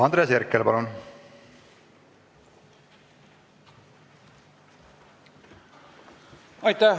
Andres Herkel, palun!